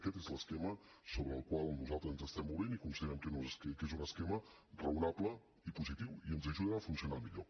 aquest és l’esquema sobre el qual nosaltres ens estem movent i considerem que és un esquema raonable i positiu i que ens ajuda a funcionar millor